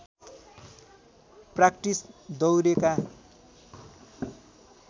practice दौरेका